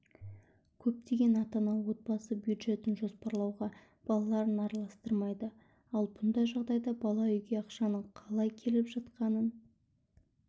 көптеген ата-ана отбасы бюджетін жоспарлауға балаларын араластырмайды ал бұндай жағдайда бала үйге ақшаның қалай келіп жатқанын